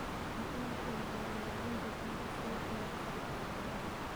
Waa in la xoojiyaa ilaalinta biyaha si wax looga qabto abaaraha.